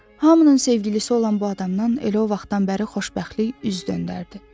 Hamının sevgilisi olan bu adamdan elə o vaxtdan bəri xoşbəxtlik üz döndərdi.